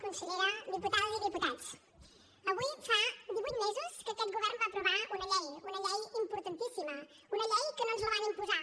consellera diputades i diputats avui fa divuit mesos que aquest govern va aprovar una llei una llei importantíssima una llei que no ens la van imposar